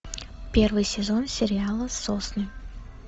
первый сезон сериала сосны